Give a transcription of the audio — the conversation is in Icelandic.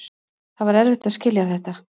Það var erfitt að skilja þetta.